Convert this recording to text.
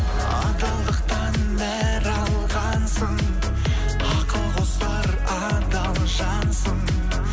адалдықтан нәр алғансың ақыл қосар адал жансың